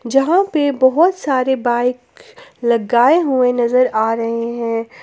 जहां पे बहोत सारे बाइक लगाए हुए नजर आ रहे हैं।